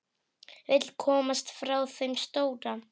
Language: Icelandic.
Vill komast frá þeim stóra.